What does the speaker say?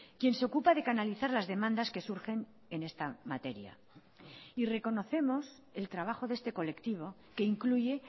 quien se ocupa de canalizar las demandas que surgen en esta materia y reconocemos el trabajo de este colectivo que incluye